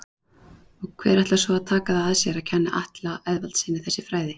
Og hver ætlar svo að taka það að sér að kenna Atla Eðvaldssyni þessi fræði?